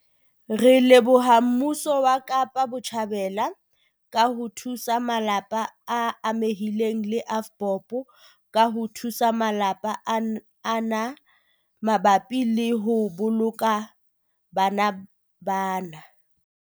Re leboha mmuso wa Kapa Botjhabela ka ho thusa malapa a amehileng le AVBOB ka ho thusa malapa ana mabapi le ho boloka bana bana.